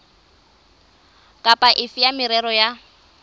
kapa efe ya merero ya